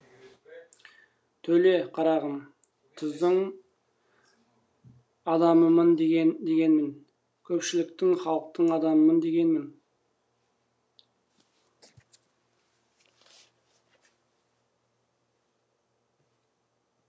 төле қарағым түздің адамымын дегенім көпшіліктің халықтың адамымын дегенім